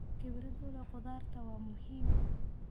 Khibrad u leh khudaarta waa muhiim.